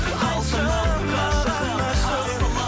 айтшы маған ашығын